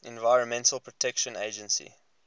environmental protection agency